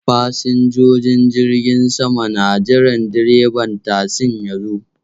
Fasinjojin jirgin sama na jiran direban tasin ya zo.